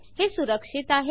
हे सुरक्षित आहे